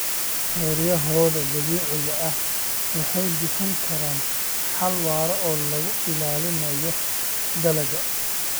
Xeryahooda dabiiciga ah waxay bixin karaan xal waara oo lagu ilaalinayo dalagga.